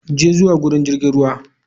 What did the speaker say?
Je zuwa wurin jirgin ruwa.